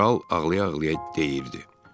Kral ağlaya-ağlaya deyirdi.